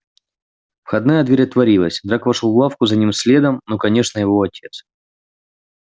входная дверь отворилась драко вошёл в лавку за ним следом ну конечно его отец